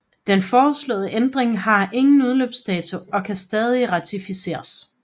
Den foreslåede ændringer har ingen udløbsdato og kan stadig ratificeres